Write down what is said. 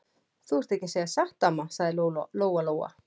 Þú ert ekki að segja satt, amma, sagði Lóa Lóa.